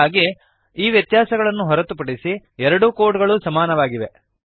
ಹಾಗಾಗಿ ಈ ವ್ಯತ್ಯಾಸಗಳನ್ನು ಹೊರತುಪಡಿಸಿ ಎರಡೂ ಕೋಡ್ ಗಳೂ ಸಮಾನವಾಗಿವೆ